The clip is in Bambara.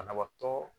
Banabaatɔ